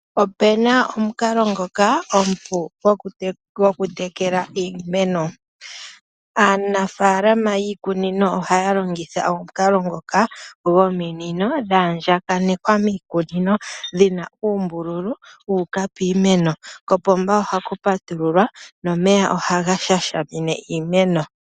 Opuna omukalo ngoka omupu goku tekele iimeno. Aanafaalama ohaya longitha omukalo ngoka gominino dhaandja kanekwa miikunino dhina uumbululu wuuka piimeno, kopomba ohaku patululwa nomeya ohaga sha shimine iimeno.